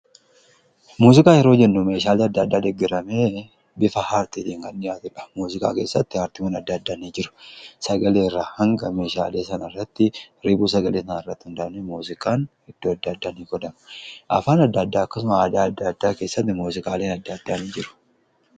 muziqaa yeroo jennu meeshaalee adda addaa dheggaramee bifa aartiitiin kan dhiyaatudha. muziqaa keessatti aartiwwan adda addaa ni jiru sagaleerraa hanga meeshaalee sana irratti riibuu sagalee sana irratti hundaa'aniii muuziqaan iddoo adda addaan qodama . afaan adda-addaa akkasuma aadaa adda addaa keessatti muuziqaaliin adda addaa ni jiru.